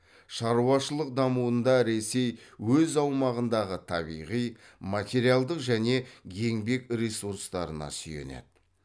шаруашылық дамуында ресей өз аумағындағы табиғи материалдық және еңбек ресурстарына сүйенеді